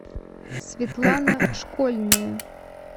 светлана школьная